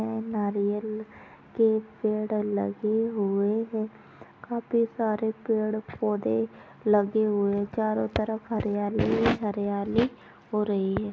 या नारियल के पेड़ लगे हुए है काफी सारे पेड़ पौधे लगे हुए चारों तरफ हरियाली हरियाली हो रही है।